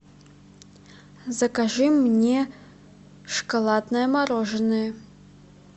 закажи мне шоколадное мороженое